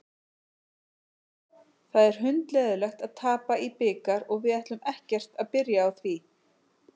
Það er hundleiðinlegt að tapa í bikar og við ætlum ekkert að byrja á því.